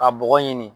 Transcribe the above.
Ka bɔgɔ ɲini